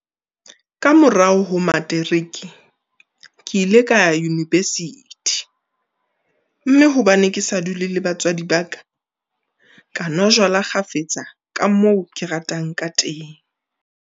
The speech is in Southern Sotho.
Ka morao ho materiki, ke ile ka ya univesithi, mme hobane ke sa dule le batswadi ba ka, ka nwa jwala kgafetsa ka moo ke ratang kateng.